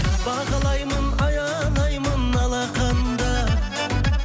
бағалаймын аялаймын алақанда